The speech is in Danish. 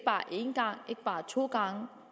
bare to gange